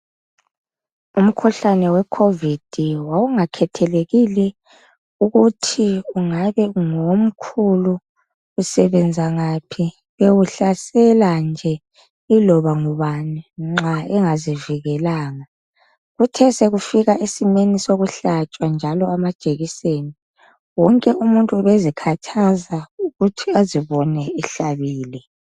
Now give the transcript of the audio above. Umkhuhlane we khovidi wawungakhethekile ukuthi ungabe ngomkhulu, usebenza ngaphi, ube uhlasela nje iloba ngubani nxa engazivikelanga. Kuthe sekufika esimeni sokuhlatshwa njalo amajekiseni wonke umuntu ubezikhathaza ukuthi azibone ehlabile.